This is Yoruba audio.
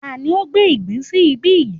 Tani ó gbé ìgbín sí ibí yìí?